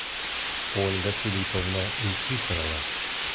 ольга филипповна никифорова